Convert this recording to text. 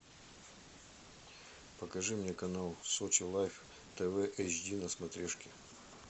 покажи мне канал сочи лайф тв эйч ди на смотрешке